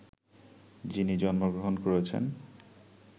যিনি জন্মগ্রহণ করেছেন